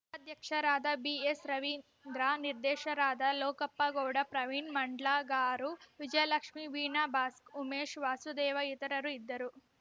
ಉಪಾದ್ಯಕ್ಷರಾದ B S Ravindra ನಿರ್ದೇಶಕರಾದ ಲೋಕಪ್ಪ ಗೌಡ ಪ್ರವೀಣ್‌ ಮಂಡ್ಲಗಾರು ವಿಜಯಲಕ್ಷ್ಮೀ ವೀಣಾ ಭಾಸ್ಕ ಉಮೇಶ್‌ ವಾಸುದೇವ ಇತರರು ಇದ್ದರು